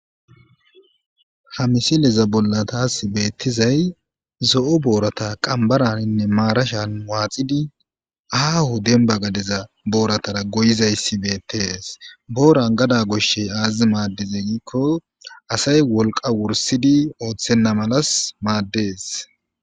Ha miseleza bollatas beettizay zo7o boorata qambaraninne maarashan waaxidi ahu demba gadeza booratara goyizayssi beettees booran gada goshshey aazizi maaddize giikko asay wolqa wursidi ooththenna malas maaddees.